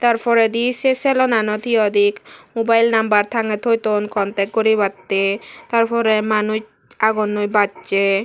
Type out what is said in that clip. ter porade sey selonanot he hoi day boil number tagey toi don contact guri batey ter pora manus agon noi bassay.